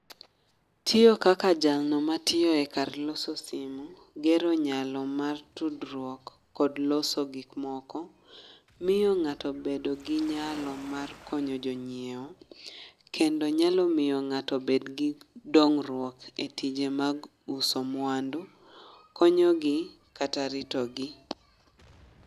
Tiyo kaka jalno ma tiyo e kar loso simu, gero nyalo mar tudruok kod loso gik moko. Miyo ng'ato bedo gi nyalo mar konyo jonyiewo, kendo nyalo miyo ng'ato bed gi dongruok e tije mag uso mwandu. Konyo gi kata rito gi.